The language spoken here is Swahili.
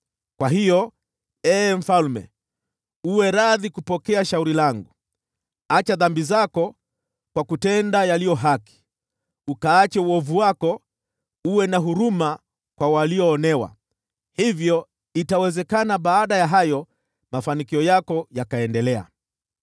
Kwa hiyo, ee mfalme, uwe radhi kupokea shauri langu: Acha dhambi zako kwa kutenda yaliyo haki, ukaache uovu wako, na uwe na huruma kwa walioonewa. Hivyo itawezekana baada ya hayo, mafanikio yako yakaendelea.”